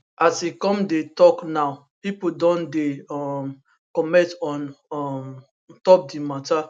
as e come dey tok now pipo don dey um comment on um top di mata